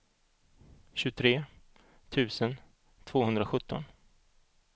tjugotre tusen tvåhundrasjutton